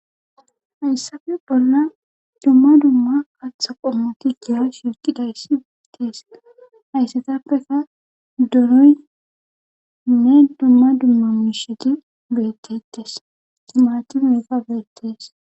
hayssafe bolla dumma dumma kaatha qommu tigiya shirti dayssi beettees hayssetappeka doroynne dumma dumma misheti bettettes timaati meeta beetees